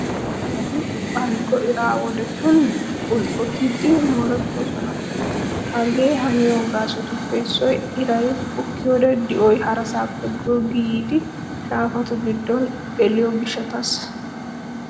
Shaafati balggo ira wodetun bulqqotidi moorettoosona. Hagee haniyo gaasotuppe issoy iray bukkiyoode di'oy harasaappe goggi yiidi shaafatu giddo geliyo gishshataassa.